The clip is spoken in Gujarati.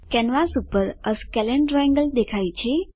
કેનવાસ પર એ સ્કેલને ટ્રાયેંગલ દેખાય છે